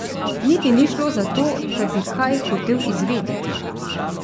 Niti ni šlo za to, da bi kaj hotel izvedeti.